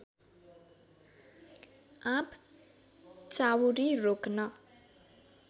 आँप चाउरी रोक्न